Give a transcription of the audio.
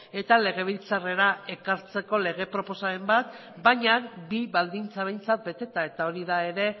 eta legebiltzarrera ekartzeko lege proposamen bat baina bi baldintza behintzat beteta eta hori da ere